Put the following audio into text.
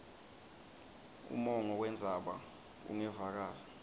umongo wendzaba ungevakali